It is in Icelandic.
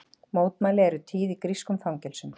Mótmæli eru tíð í grískum fangelsum